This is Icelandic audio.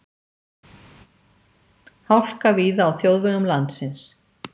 Hálka víða á þjóðvegum landsins